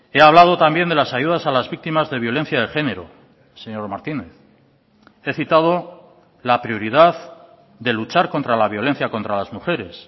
he hablado también de las ayudas a las víctimas de violencia de género señor martínez he citado la prioridad de luchar contra la violencia contra las mujeres